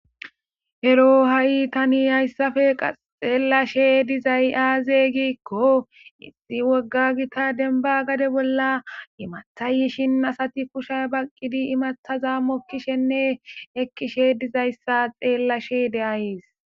ero ha'i tani hayssafe qa xeellashe dizay aaze giikko issi wogga gita denba gade bolla imathayishin asati kusha baqqidi imathaza mokkishenne ekkishe dizayssa xeellashe de'ayis